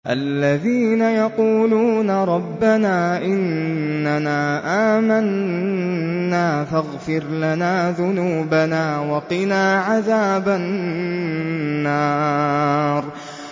الَّذِينَ يَقُولُونَ رَبَّنَا إِنَّنَا آمَنَّا فَاغْفِرْ لَنَا ذُنُوبَنَا وَقِنَا عَذَابَ النَّارِ